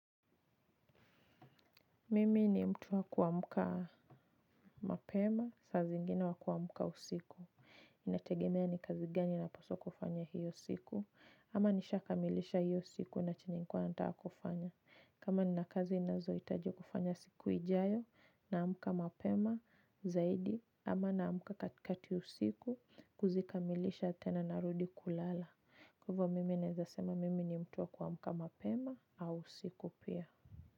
Mimi ni mtu wa kuamka mapema, saa zingine wa kuamka usiku. Inategemea ni kazi gani napaswa kufanya hiyo siku. Ama nishakamilisha hiyo siku na chenye nilikuwa nataka kufanya. Kama nina kazi ninazohitaji kufanya siku ijayo naamka mapema zaidi. Ama naamka katikati ya usiku kuzikamilisha tena narudi kulala. Kwa hivyo mimi naezasema mimi ni mtu wa kuamka mapema au usiku pia.